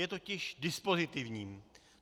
Je totiž dispozitivní.